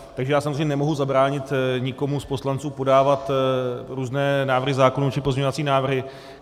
Takže já samozřejmě nemohu zabránit nikomu z poslanců podávat různé návrhy zákonů či pozměňovací návrhy.